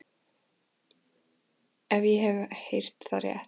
Ef ég hef heyrt það rétt.